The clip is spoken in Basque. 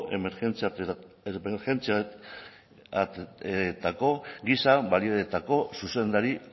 emergentzietako giza baliabideetako zuzendari